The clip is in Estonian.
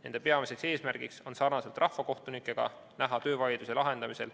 Nende peamine eesmärk on sarnaselt rahvakohtunikega näha töövaidluse lahendamisel